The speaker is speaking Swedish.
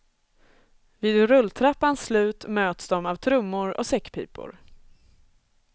Vid rulltrappans slut möts de av trummor och säckpipor.